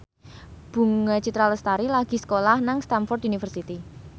Bunga Citra Lestari lagi sekolah nang Stamford University